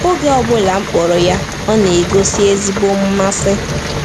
Oge ọ bụla m kpọrọ ya, ọ na-egosi ezigbo mmasị.